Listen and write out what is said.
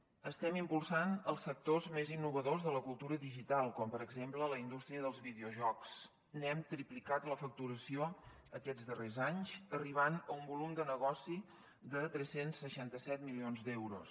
estem impulsant els sectors més innovadors de la cultura digital com per exemple la indústria dels videojocs n’hem triplicat la facturació aquests darrers anys arribant a un volum de negoci de tres cents i seixanta set milions d’euros